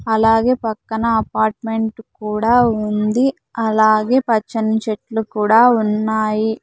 అలాగే పక్కన అపార్ట్మెంట్ కూడా ఉంది అలాగే పచ్చని చెట్లు కూడా ఉన్నాయి.